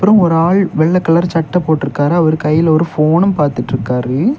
அங்க ஒரு ஆள் வெள்ள கலர் சட்ட போட்டுருக்காரு அவர் கையில ஒரு ஃபோனும் பாத்துட்டுருக்காரு.